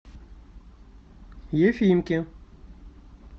ефимке